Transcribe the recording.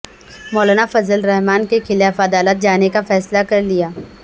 مولانافضل الرحمن کے خلاف عدالت جانے کا فیصلہ کر لیا